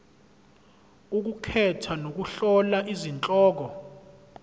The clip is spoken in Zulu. ukukhetha nokuhlola izihloko